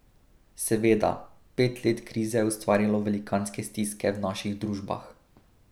Seveda, pet let krize je ustvarilo velikanske stiske v naših družbah.